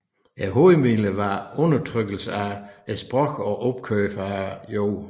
Hovedmidler var undertrykkelse af sprogene og opkøb af jorden